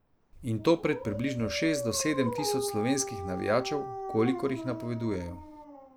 In to pred približno šest do sedem tisoč slovenskih navijačev, kolikor jih napovedujejo.